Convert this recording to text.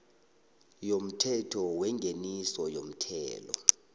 yomthetho wengeniso yomthelo